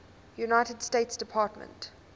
united states department